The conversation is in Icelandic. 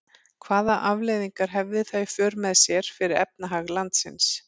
Hvaða afleiðingar hefði það í för með sér fyrir efnahag landsins?